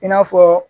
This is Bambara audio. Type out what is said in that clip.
I n'a fɔ